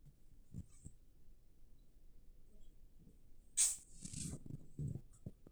keesi enaa too ndaiki oo nkishu nauno o ndaiki oo nguesi naaiminie empiron tenetoyu